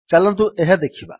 ଚାଲନ୍ତୁ ଏହା ଦେଖିବା